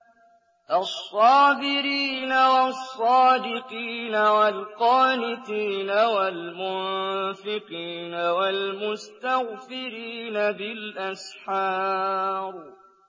الصَّابِرِينَ وَالصَّادِقِينَ وَالْقَانِتِينَ وَالْمُنفِقِينَ وَالْمُسْتَغْفِرِينَ بِالْأَسْحَارِ